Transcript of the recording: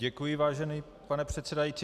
Děkuji, vážený pane předsedající.